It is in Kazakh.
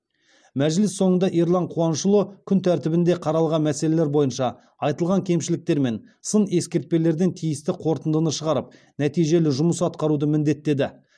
мәжіліс соңында ерлан қуанышұлы күн тәртібінде қаралған мәселелер бойынша айтылған кемшіліктер мен сын ескертпелерден тиісті қорытынды шығарып нәтижелі жұмыс атқаруды міндеттеді